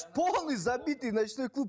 полный забитый ночной клуб